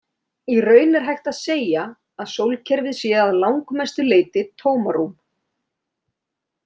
Í raun er hægt að segja að sólkerfið sé að langmestu leyti tómarúm.